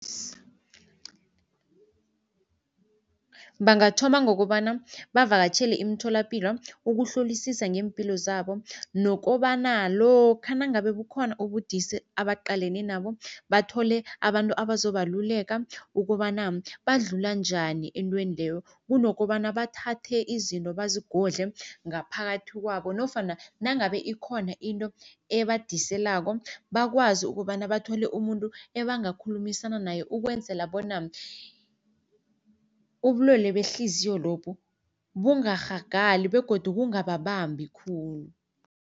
Bangathoma ngokobana bavakatjhele imitholapilo ukuhlolisisa ngeempilo zabo. Nokobana lokha nangabe bukhona ubudisi abaqaleni nabo, bathole abantu abazobaluleka ukobana badlula njani entweni leyo. Kunokobana bathathe izinto bazigodle ngaphakathi kwabo nofana nangabe ikhona into ebhadiselako, bakwazi ukobana bathole umuntu ebangakhulumisana naye ukwenzela bona ubulwele behliziyo lobu bungarhagali begodu kungababambi khulu.